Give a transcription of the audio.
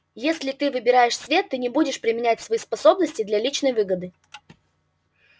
если ты выбираешь свет ты не будешь применять свои способности для личной выгоды